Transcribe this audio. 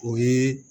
O ye